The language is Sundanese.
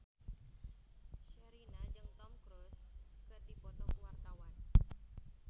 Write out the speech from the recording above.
Sherina jeung Tom Cruise keur dipoto ku wartawan